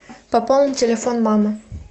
пополни телефон мамы